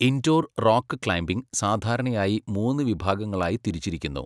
Indoor rock climbing സാധാരണയായി മൂന്ന് വിഭാഗങ്ങളായി തിരിച്ചിരിക്കുന്നു.